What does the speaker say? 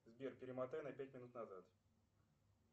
сбер перемотай на пять минут назад